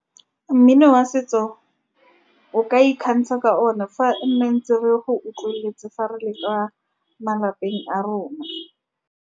Mmino wa setso o ka ikgantsha ka one, fa nne ntse re go utlweletse fa re le kwa malapeng a rona.